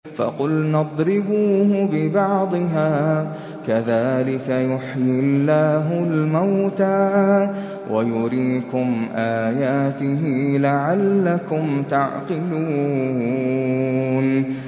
فَقُلْنَا اضْرِبُوهُ بِبَعْضِهَا ۚ كَذَٰلِكَ يُحْيِي اللَّهُ الْمَوْتَىٰ وَيُرِيكُمْ آيَاتِهِ لَعَلَّكُمْ تَعْقِلُونَ